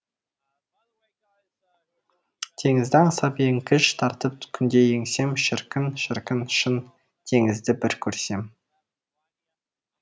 теңізді аңсап еңкіш тартып күнде еңсем шіркін шіркін шын теңізді бір көрсем